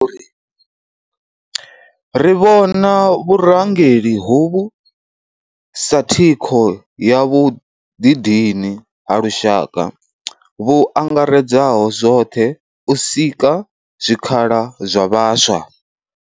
Ri vhona vhurangeli hovhu sa thikho ya vhuḓidini ha lushaka vhu angaredzaho zwoṱhe u sika zwikhala zwa vhaswa.